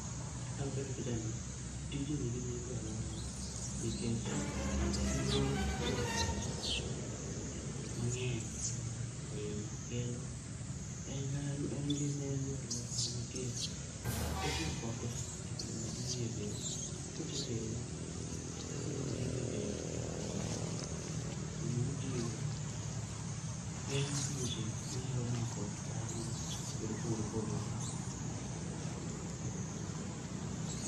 Kaluwore gi picha ni, tijni nigi nengo e aluorawa nikech en yor yudo pesa mang'eny ahinya kendo en kata en gi nengo e aluorawa nikech itiyo kode e kelo madini e del. Kisetede to okelo madini edel, dend dhano. Kendo madini go geng‘o tuoche manyalo mako dhano e yore mopogore opogore.